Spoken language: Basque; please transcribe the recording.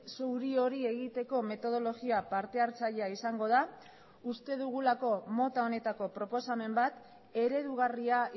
zuri hori egiteko metodologia partehartzailea izango da uste dugulako mota honetako proposamen bat eredugarria